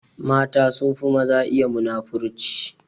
Mata sunfi maza iya muna-furci.